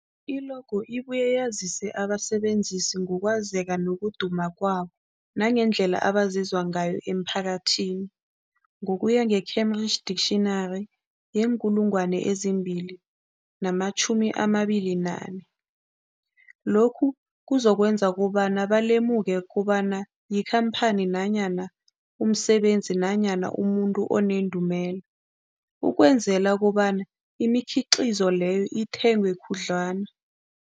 I-logo ibuye yazise abasebenzisi ngokwazeka nokuduma kwabo nangendlela abazizwa ngayo emphakathini, Cambridge Dictionary, 2024. Lokho kuzokwenza kobana balemuke kobana yikhamphani nanyana umsebenzi nanyana umuntu onendumela, ukwenzela kobana imikhiqhizo leyo ithengwe khudlwana.